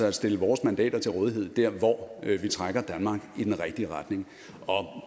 at stille vores mandater til rådighed der hvor vi trækker danmark i den rigtige retning